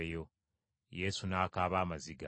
Yesu n’akaaba amaziga.